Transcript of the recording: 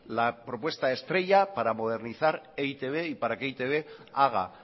la propuesta estrella para modernizar e i te be y que para e i te be haga